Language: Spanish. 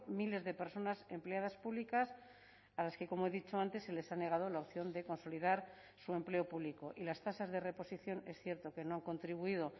miles de personas empleadas públicas a las que como he dicho antes se les ha negado la opción de consolidar su empleo público y las tasas de reposición es cierto que no han contribuido